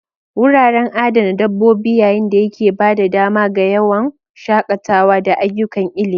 Wuraren adana dabbobi yayin da yake ba da dama ga yawon shakatawa da ayyukan ilimi.